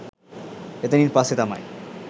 එතැනින් පස්‌සේ තමයි